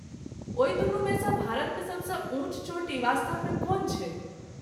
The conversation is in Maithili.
ओहि दुनूमेसँ भारतमे सबसँ ऊँच चोटी वास्तवमे कोन छै?